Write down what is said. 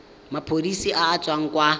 maphodiseng a a tswang kwa